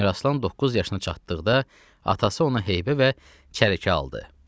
Əmiraslan doqquz yaşına çatdıqda, atası ona heybə və çərəkə aldı.